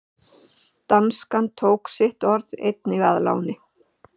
Danskan tók sitt orð einnig að láni.